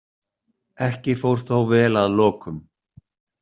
Ekki fór þó vel að lokum.